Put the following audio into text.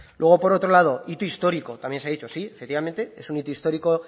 luego por otro lado hito histórico también se ha dicho sí efectivamente es un hito histórico